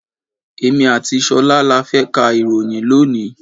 Èmi àti ṣolá là fẹ ká ìròyìn lónìí.